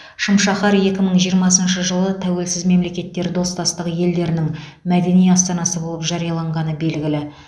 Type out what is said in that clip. шым шаһар екі мың жиырмасыншы жылы тәуелсіз мемлекеттер достастығы елдерінің мәдени астанасы болып жарияланғаны белгілі